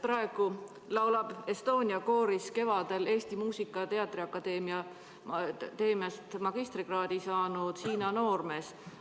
Praegu laulab Estonia kooris kevadel Eesti Muusika- ja Teatriakadeemiast magistrikraadi saanud Hiina noormees.